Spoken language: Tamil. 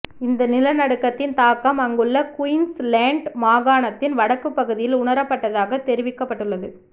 இந்த நிலநடுக்கத்தின் தாக்கம் அங்குள்ள குயின்ஸ்லேண்ட் மாகாணத்தின் வடக்குப் பகுதியில் உணரப்பட்டதாக தெரிவிக்கப்பட்டள்ளது